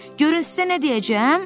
Görün sizə nə deyəcəm?